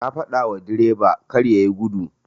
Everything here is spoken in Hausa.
Na fadawa direba karya yi gudu.